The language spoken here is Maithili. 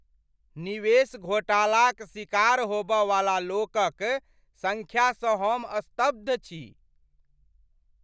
निवेश घोटालाक शिकार होब वाला लोक क सँख्या सँ हम स्तब्ध छी।